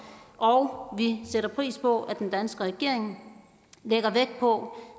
og vi sætter pris på at den danske regering lægger vægt på